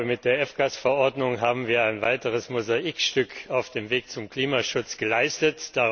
Ich glaube, mit der F Gase Verordnung haben wir ein weiteres Mosaikstück auf dem Weg zum Klimaschutz geleistet.